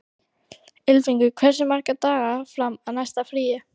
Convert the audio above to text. Ylfingur, hversu margir dagar fram að næsta fríi?